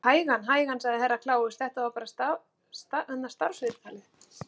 Hægan, hægan, sagði Herra Kláus, þetta er bara starfsviðtalið.